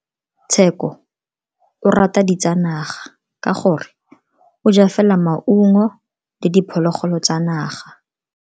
Tsheko o rata ditsanaga ka gore o ja fela maungo le diphologolo tsa naga.